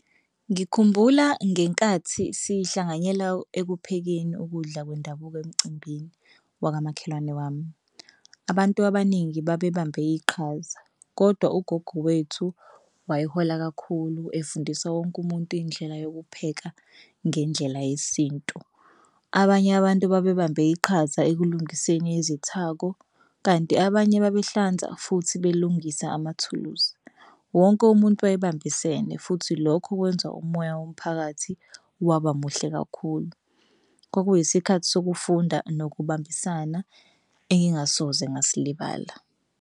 Ngikhumbula ngenkathi sihlanganyela ekuphekeni ukudla kwendabuko emcimbini wakamakhelwane wami. Abantu abaningi babebambe iqhaza kodwa ugogo wethu wayehola kakhulu efundisa wonke umuntu indlela yokupheka ngendlela yesintu. Abanye abantu babebambe iqhaza ekulingiseni izithako kanti abanye babehlanza futhi belungise amathuluzi. Wonke umuntu wayebambisene futhi lokho kwenza umoya womphakathi waba muhle kakhulu. Kwakuyisikhathi sokufunda nokubambisana engingasoze ngasilibala.